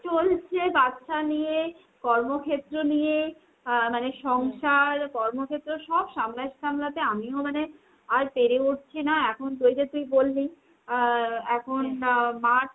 চলছে। বাচ্ছা নিয়ে, কর্মক্ষেত্র নিয়ে। আহ মানে সংসার কর্মক্ষেত্র সব সামলাতে সামলাতে আমিও মানে আর পেরে উঠছি না এখন ওই যে তুই বললি আহ এখন March